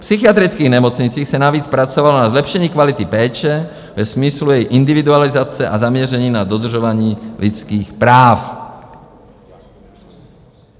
V psychiatrických nemocnicích se navíc pracovalo na zlepšení kvality péče ve smyslu jejich individualizace a zaměření na dodržování lidských práv.